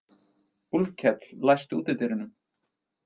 Úlfkell, læstu útidyrunum.